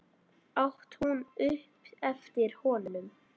át hún upp eftir honum.